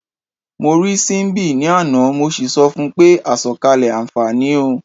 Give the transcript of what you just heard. Mo rí Síḿbì ní àná, mo sì sọ fun pé "àsọ̀kalẹ̀ àǹfààní o".